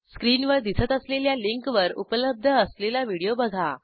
स्क्रीनवर दिसत असलेल्या लिंकवर उपलब्ध असलेला व्हिडिओ बघा